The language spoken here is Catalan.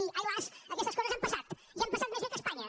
i ai las aquestes coses han passat i han passat més bé que a espanya